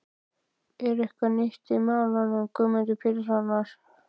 Er eitthvað nýtt í málum Guðmundar Péturssonar?